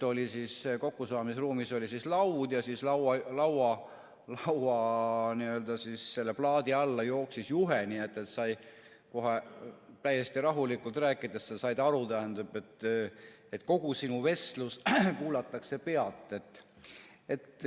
Kokkusaamisruumis oli laud ja lauaplaadi alla jooksis juhe, nii et kohe täiesti rahulikult rääkides said aru, et kogu sinu vestlust kuulatakse pealt.